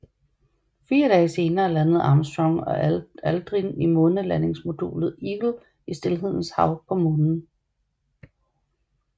Fire dage senere landede Armstrong og Aldrin i månelandingsmodulet Eagle i Stilhedens Hav på Månen